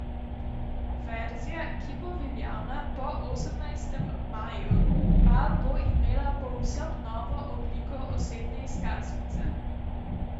Verzija, ki bo veljavna po osemnajstem maju, pa bo imela povsem novo obliko osebne izkaznice.